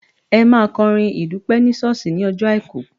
Ẹ máa kọrin ìdúpẹ́ ní ṣọ́ọ̀ṣì ní ọjọ́ Àìkú.